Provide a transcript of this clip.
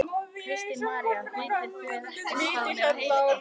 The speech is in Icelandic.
Kristín María: Vitið þið ekkert hvað hún heitir?